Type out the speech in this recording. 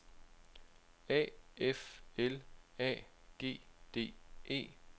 A F L A G D E